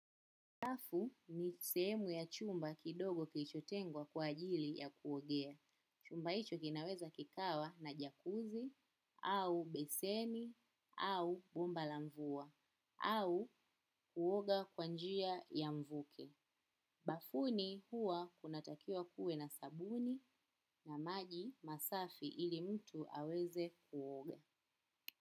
Bafu ni sehemu ya chumba kidogo kilichotengwa kwa ajili ya kuogea. Chumba hicho kinaweza kikawa na jakuzi, au beseni, au bomba la mvua, au kuoga kwa njia ya mvuke. Bafuni huwa kunatakiwa kuwe na sabuni na maji masafi ili mtu aweze kuoga.